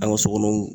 An ka sokɔnɔ